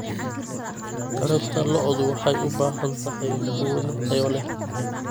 Taranta lo'du waxay u baahan tahay quudin tayo leh.